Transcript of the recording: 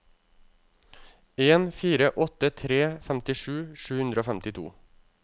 en fire åtte tre femtisju sju hundre og femtito